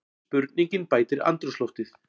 Spurningin bætir andrúmsloftið.